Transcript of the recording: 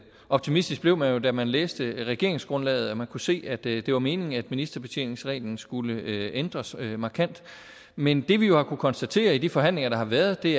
optimistisk blev man jo da man læste regeringsgrundlaget og kunne se at det det var meningen at ministerbetjeningsreglen skulle ændres markant men det vi jo har kunnet konstatere i de forhandlinger der har været er at det